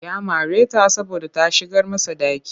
Ya mare ta saboda ta shigar masa ɗaki